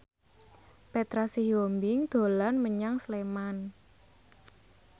Petra Sihombing dolan menyang Sleman